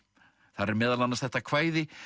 þar er meðal annars þetta kvæði